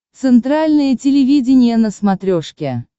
центральное телевидение на смотрешке